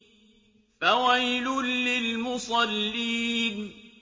فَوَيْلٌ لِّلْمُصَلِّينَ